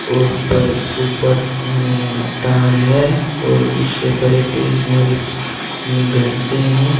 और ऊपर ऊपर में तार है और उससे ऊपर ये टीन वाली घर से हैं।